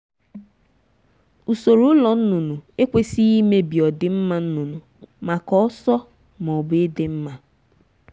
usoro ụlọ nnụnụ ekwesịghị imebi ọdịmma nnụnụ maka ọsọ ma ọ bụ ịdị mma.